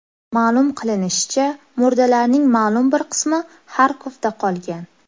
Ma’lum qilinishicha, murdalarning ma’lum bir qismi Xarkovda qolgan.